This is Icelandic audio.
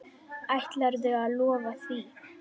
Ætlarðu að lofa því?